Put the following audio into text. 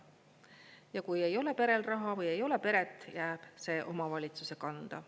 Ja kui ei ole perel raha või ei ole peret, jääb see omavalitsuse kanda.